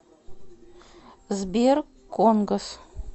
сбер конгос